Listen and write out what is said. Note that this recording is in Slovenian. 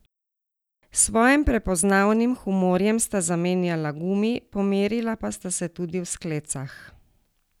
S svojim prepoznavnim humorjem sta zamenjala gumi, pomerila pa sta se tudi v sklecah.